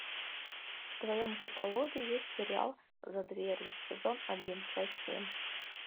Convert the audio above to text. в твоем каталоге есть сериал за дверью сезон один часть семь